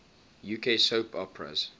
uk soap operas